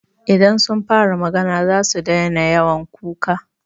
Idan sun fara magana zasu daina yawan kuka.